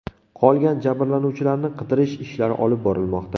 Qolgan jabrlanuvchilarni qidirish ishlari olib borilmoqda.